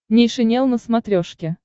нейшенел на смотрешке